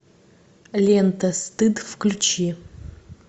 лента стыд включи